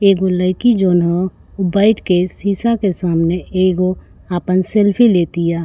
एगो लइकी जौन ह उ बईठ के सीसा के सामने एगो आपन सेल्फी लेतिया।